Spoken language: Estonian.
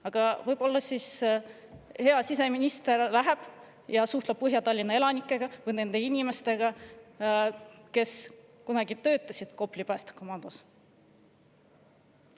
Aga võib-olla hea siseminister läheb ja suhtleb Põhja-Tallinna elanikega või nende inimestega, kes töötasid kunagi Kopli päästekomandos.